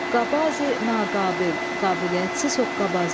Hoqqabazi, naqabil, qabiliyyətsiz hoqqabazdar.